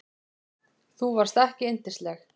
Þú varst ekki yndisleg.